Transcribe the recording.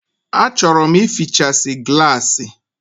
A chọrọ m ịfịchasi gịlasi